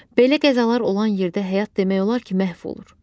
Belə qəzalar olan yerdə həyat demək olar ki, məhv olur.